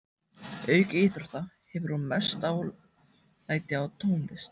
Auk íþrótta hefur hún mest dálæti á tónlist.